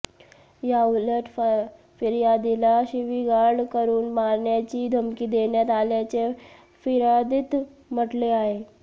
याऊलट फिर्यादीला शिवीगाळ करून मारण्याची धमकी देण्यात आल्याचे फिर्यादीत म्हटले आहे